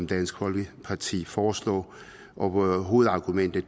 dansk folkeparti foreslår og hovedargumentet